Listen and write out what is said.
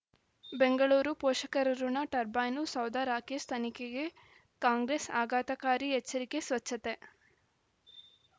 ಬೆಂಗಳೂರು ಪೋಷಕರಋಣ ಟರ್ಬೈನು ಸೌಧ ರಾಕೇಶ್ ತನಿಖೆಗೆ ಕಾಂಗ್ರೆಸ್ ಆಘಾತಕಾರಿ ಎಚ್ಚರಿಕೆ ಸ್ವಚ್ಛತೆ